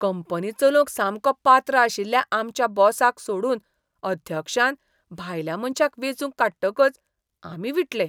Company चलोवंक सामको पात्र आशिल्ल्या आमच्या बॉसाक सोडून अध्यक्षान भायल्या मनशाक वेंचून काडटकच आमी विटले.